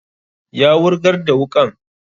Ya wurgar da wuƙan